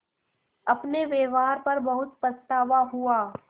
अपने व्यवहार पर बहुत पछतावा हुआ